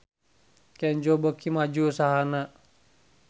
Kenzo beuki maju usahana